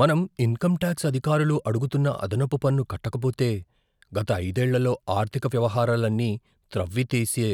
మనం income tax అధికారులు అడుగుతున్న అదనపు పన్ను కట్టకపోతే, గత ఐదేళ్లలో ఆర్థిక వ్యవహారాలన్నీ త్రవ్వి తీసే